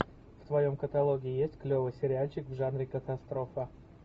в твоем каталоге есть клевый сериальчик в жанре катастрофа